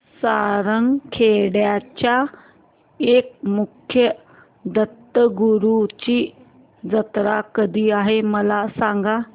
सारंगखेड्याच्या एकमुखी दत्तगुरूंची जत्रा कधी आहे मला सांगा